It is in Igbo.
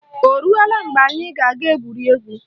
Oruola mgbe anyị ga-aga gwurie egwu?